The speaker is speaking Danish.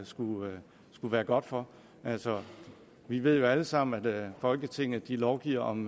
skulle være godt for altså vi ved jo alle sammen at folketinget lovgiver om